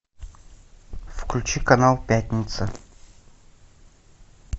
включи канал пятница